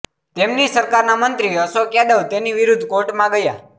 તેમની સરકારના મંત્રી અશોક યાદવ તેની વિરુદ્ધ કોર્ટમાં ગયા